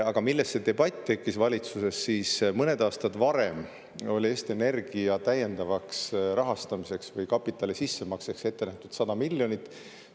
Aga see debatt tekkis valitsuses sellest, et mõned aastad varem oli Eesti Energia täiendavaks rahastamiseks või kapitali sissemakseks ette nähtud 100 miljonit.